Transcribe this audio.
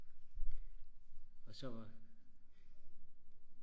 og så var